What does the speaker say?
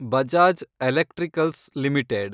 Bajaj electricals limited